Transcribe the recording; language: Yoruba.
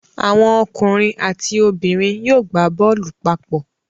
Àwọn ọkùnrin àti obìnrin yóò gbá bọ́ọ̀lù papọ